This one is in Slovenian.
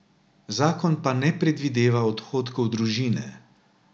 Zakon pa ne predvideva odhodkov družine.